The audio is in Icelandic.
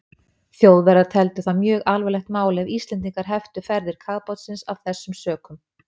Þjóðverjar teldu það mjög alvarlegt mál, ef Íslendingar heftu ferðir kafbátsins af þessum sökum.